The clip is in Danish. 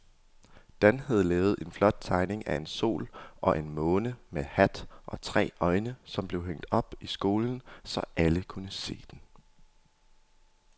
Dan havde lavet en flot tegning af en sol og en måne med hat og tre øjne, som blev hængt op i skolen, så alle kunne se den.